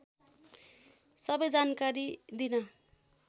सबै जानकारी दिन